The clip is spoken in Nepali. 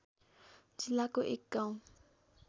जिल्लाको एक गाउँ